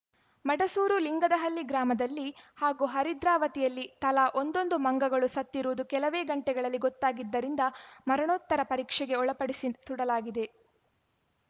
ಮಡಸೂರು ಲಿಂಗದಹಳ್ಳಿ ಗ್ರಾಮದಲ್ಲಿ ಹಾಗೂ ಹರಿದ್ರಾವತಿಯಲ್ಲಿ ತಲಾ ಒಂದೊಂದು ಮಂಗಗಳು ಸತ್ತಿರುವುದು ಕೆಲವೇ ಗಂಟೆಗಳಲ್ಲಿ ಗೊತ್ತಾಗಿದ್ದರಿಂದ ಮರಣೋತ್ತರ ಪರೀಕ್ಷೆಗೆ ಒಳಪಡಿಸಿ ಸುಡಲಾಗಿದೆ